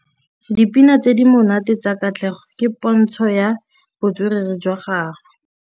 Dipina tse di monate tsa Katlego ke pôntshô ya botswerere jwa gagwe.